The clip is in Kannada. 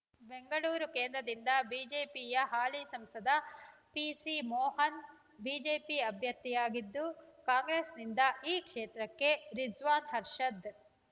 ಬೆಂಗಳೂರು ಕೇಂದ್ರದಿಂದ ಬಿಜೆಪಿಯ ಹಾಲಿ ಸಂಸದ ಪಿಸಿ ಮೋಹನ್ ಬಿಜೆಪಿ ಅಭ್ಯರ್ಥಿಯಾಗಿದ್ದು ಕಾಂಗ್ರೆಸ್‌ನಿಂದ ಈ ಕ್ಷೇತ್ರಕ್ಕೆ ರಿಜ್ವಾನ್ ಹರ್ಷದ್